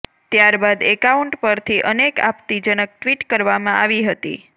ત્યારબાદ એકાઉન્ટ પરથી અનેક આપત્તિજનક ટ્વીટ કરવામાં આવી હતી